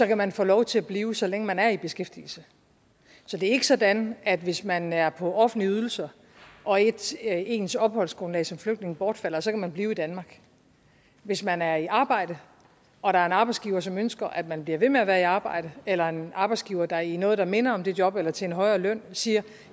kan man få lov til at blive så længe man er i beskæftigelse så det er ikke sådan at hvis man er på offentlige ydelser og ens ens opholdsgrundlag som flygtning bortfalder så kan man blive i danmark hvis man er i arbejde og der er en arbejdsgiver som ønsker at man bliver ved med at være i arbejde eller der er en arbejdsgiver der i noget der minder om dette job eller til en højere løn siger